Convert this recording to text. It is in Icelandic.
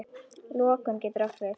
Lokun getur átt við